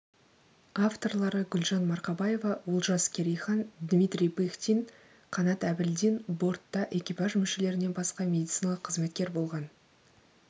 авторлары гүлжан марқабаева олжас керейхан дмитрий пыхтин қанат әбілдин бортта экипаж мүшелерінен басқа медициналық қызметкер болған